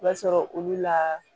I b'a sɔrɔ olu la